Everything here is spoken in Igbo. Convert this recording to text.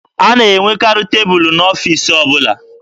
A na-enwekarị tebụlụ n'ọfiisi ọbụla.